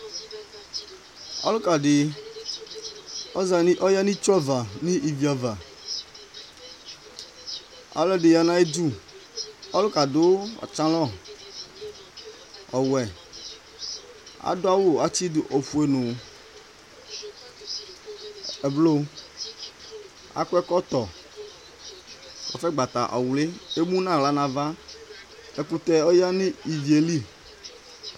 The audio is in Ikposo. ɔluka di ɔza, ɔya nu itsu ava nu ivi ava, ɔlu ɛdi ya nu ayi du, ɔlukɛ adu pantalon ɔwuɛ, adu awu atsi du ofue nu ɛbluu, akɔ ɛkɔtɔ kasɛ gbata ɔwli , emu nu aɣla nu ava, ɛkutɛ ɔya nu ivie li